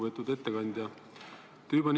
Lugupeetud ettekandja!